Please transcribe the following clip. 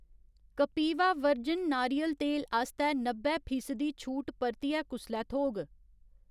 Kapiva virgin नारियल तेल आस्तै नब्बै फीसदी छूट परतियै कुसलै थ्होग?